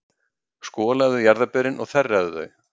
Skolaðu jarðarberin og þerraðu þau.